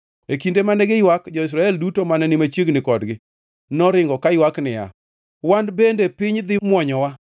E kinde mane giywak, jo-Israel duto mane ni machiegni kodgi noringo, kaywak niya, “Wan bende piny dhi mwonyowa!”